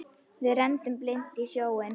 Við renndum blint í sjóinn.